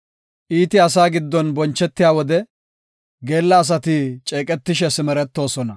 Iiti asaa giddon bonchetiya wode, geella asati ceeqetishe simeretoosona.